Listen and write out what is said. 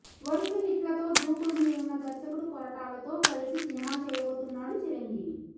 వరుస హిట్లతో దూకుడు మీదున్న దర్శకుడు కొరటాలతో కలిసి సినిమా చేయబోతున్నాడు చిరంజీవి